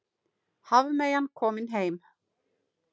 Hafmeyjan komin heim